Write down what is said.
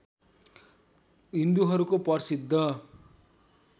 हिन्दुहरूको प्रसिद्ध